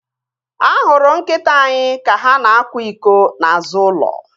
A hụrụ nkịta anyị ka ha na-akwa iko n'azụ ulo